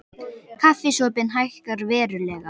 Kaffisopinn hækkar verulega